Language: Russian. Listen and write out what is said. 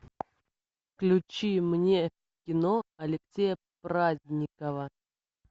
включи мне кино алексея праздникова